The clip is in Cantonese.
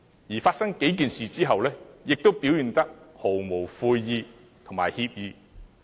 在這數件事發生後，他仍表現得毫無悔意和歉意。